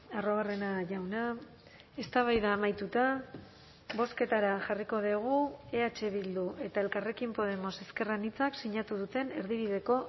arruabarrena jauna eztabaida amaituta bozketara jarriko dugu eh bildu eta elkarrekin podemos ezker anitzak sinatu duten erdibideko